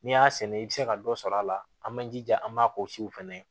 N'i y'a sɛnɛ i bɛ se ka dɔ sɔrɔ a la an man jija an b'a fɛnɛ